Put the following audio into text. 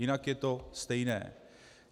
Jinak je to stejné.